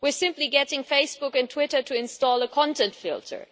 We are simply getting Facebook and Twitter to install a content filter.